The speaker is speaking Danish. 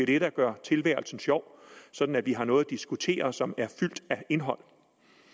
det der gør tilværelsen sjov sådan at vi har noget at diskutere som er fyldt af indhold